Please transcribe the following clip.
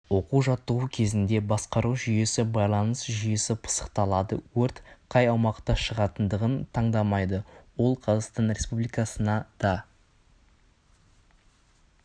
оқу-жаттығу кезінде басқару жүйесі байланыс жүйесі пысықталады өрт қай аумақта шығатындығын таңдамайды ол қазақстан республикасына да